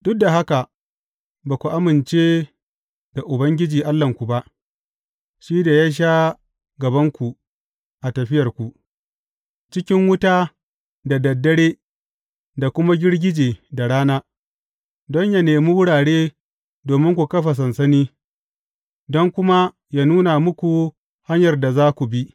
Duk da haka, ba ku amince da Ubangiji Allahnku ba, shi da ya sha gabanku a tafiyarku, cikin wuta da dad dare da kuma girgije da rana, don yă nemi wurare domin ku kafa sansani, don kuma yă nuna muku hanyar da za ku bi.